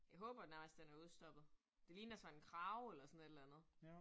Jeg håber den faktisk den er udstoppet. Det ligner sådan en krage eller sådan et eller andet